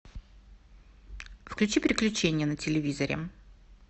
включи приключения на телевизоре